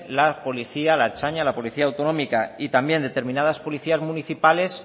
la policía la ertzaintza la policía autonómica y también determinadas policías municipales